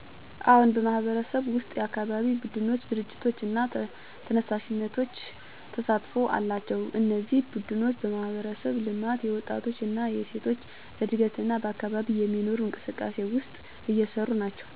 አዎን፣ በማህበረሰብዬ ውስጥ የአካባቢ ቡድኖች፣ ድርጅቶች እና ተነሳሽነቶች ተሳትፎ አላቸው። እነዚህ ቡድኖች በማህበረሰብ ልማት፣ የወጣቶች እና ሴቶች እድገት እና በአካባቢ የሚኖሩ እንቅስቃሴዎች ውስጥ እየሰሩ ናቸው። ሚናቸው የማህበረሰብን አንድነት ማሳደግ፣ በትክክል አስተዳደር ማስተላለፍ እና አካባቢውን እድገት ማስገኛ ነው። በእነሱ ተሳትፎ ማህበረሰቡ በጋራ ድጋፍና እድገት ሲያገኝ ይረዳል፣ እና ሰዎች አንድነትና አካባቢን ማስተካከል በተለያዩ መንገዶች ሊሳተፉ ይችላሉ።